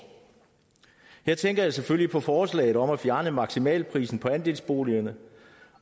her tænker jeg selvfølgelig på forslaget om at fjerne maksimalprisen på andelsboligerne